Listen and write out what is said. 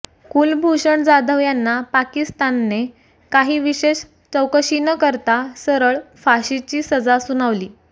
कुलभूषण जाधव यांना पाकिस्तानने काही विशेष चौकशी न करता सरळ फाशीची सजा सुनावली